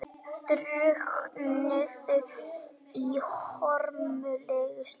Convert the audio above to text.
Drukknuðu í hörmulegu slysi